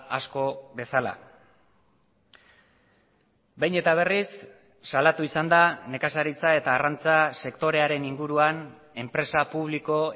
asko bezala behin eta berriz salatu izan da nekazaritza eta arrantza sektorearen inguruan enpresa publiko